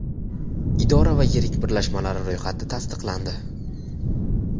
idora va yirik birlashmalari ro‘yxati tasdiqlandi.